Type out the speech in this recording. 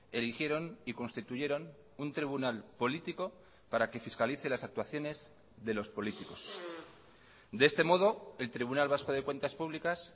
eligieron y constituyeron un tribunal político para que fiscalice las actuaciones de los políticos de este modo el tribunal vasco de cuentas públicas